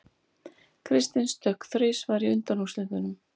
Kristinn stökk þrisvar í undanúrslitunum